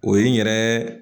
O ye n yɛrɛ